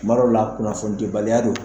Kuma dɔw la kunnafoni dibaliya don